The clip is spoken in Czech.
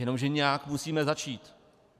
Jenomže nějak musíme začít.